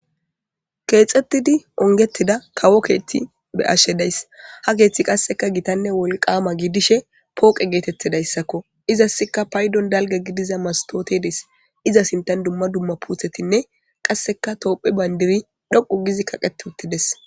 Keexettidi ongettida kawo keethti be ashe days ha keeththi qasseka gitanne wolqaama giidishe pooqe geetettidayssakko izassika paydon dalga gidiza mastootedes iza sintan dumma dumma puuthetinne qasseka toophe bayndiri dhoqu gizi kaqeti uttides